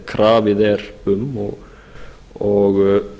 krafið er um og